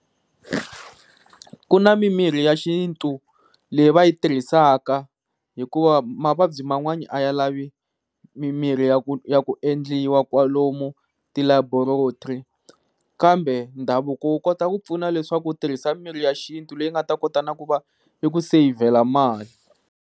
Ku na mimirhi ya xintu, leyi va yi tirhisaka hikuva mavabyi man'wani a ya lavi mimirhi ya ku ya ku endliwa wa kwalomu ti laboratory. Kambe ndhavuko wu kota ku pfuna leswaku u tirhisa mirhi ya xintu leyi nga ta kota na ku va yi ku sevhela mali.